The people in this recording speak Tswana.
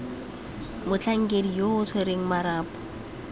motlhankedi yo o tshwereng marapo